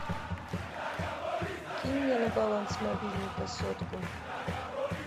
кинь мне на баланс мобильника сотку